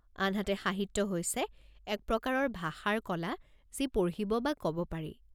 আনহাতে, সাহিত্য হৈছে এক প্ৰকাৰৰ ভাষাৰ কলা যি পঢ়িব বা ক'ব পাৰি।